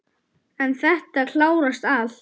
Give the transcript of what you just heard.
En þetta klárast allt.